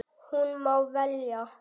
Hún má velja.